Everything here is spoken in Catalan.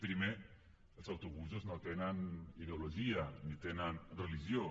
primer els autobusos no tenen ideologia ni tenen religió